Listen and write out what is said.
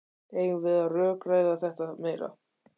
Eigum við að rökræða þetta meira?